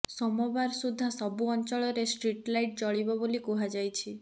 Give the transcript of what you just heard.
ସୋମବାର ସୁଦ୍ଧା ସବୁ ଅଞ୍ଚଳରେ ଷ୍ଟ୍ରିଟଲାଇଟ୍ ଜଳିବ ବୋଲି କୁହାଯାଇଛି